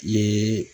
Ye